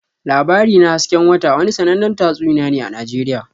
"Labari na hasken wata" wani sannanen tatsuniya ne a Najeriya.